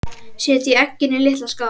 Setjið eggin í litla skál.